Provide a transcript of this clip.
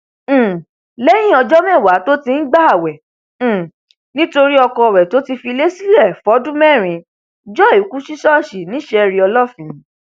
um lẹyìn ọjọ mẹwàá tó ti ń gbààwẹ um nítorí ọkọ rẹ tó filé sílẹ fọdún mẹrin joy kù sí ṣọọṣì ni sherí olófin